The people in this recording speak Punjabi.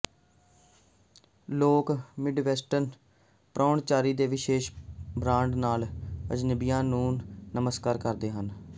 ਲੋਕ ਮਿਡਵੈਸਟਰਨ ਪ੍ਰਾਹੁਣਚਾਰੀ ਦੇ ਵਿਸ਼ੇਸ਼ ਬ੍ਰਾਂਡ ਨਾਲ ਅਜਨਬੀਆਂ ਨੂੰ ਨਮਸਕਾਰ ਕਰਦੇ ਹਨ